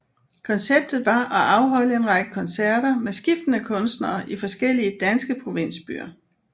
Konceptet var at afholde en række koncerter med skiftende kunstnere i forskellige danske provinsbyer